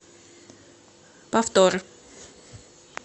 повтор